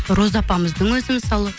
роза апамыздың өзі мысалы